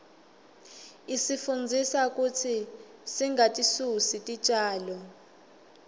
isifundzisa kutsi singatisusi titjalo